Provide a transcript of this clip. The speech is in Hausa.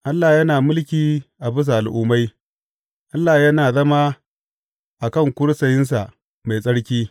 Allah yana mulki a bisa al’ummai; Allah yana zama a kan kursiyinsa mai tsarki.